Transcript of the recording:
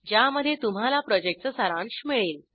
ज्यामध्ये तुम्हाला प्रॉजेक्टचा सारांश मिळेल